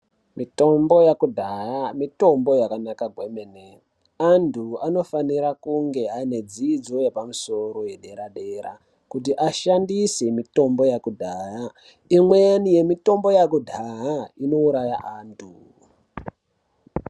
Mitombo yekudhaya mitombo yakanaka kwemene antu anofanira kunge aine dzidzo yepamusoro dera dera kuti ashandise mutombo yekudhaya imweni yemitombo yekudhaha inouraya antu.